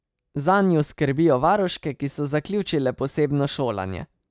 Zanju skrbijo varuške, ki so zaključile posebno šolanje.